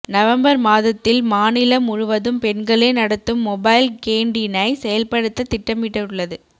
November மாதத்தில் மாநிலம் முழுவதும் பெண்களே நடத்தும் மொபைல் கேண்டீனை செயல்படுத்த திட்டமிட்டுள்ளது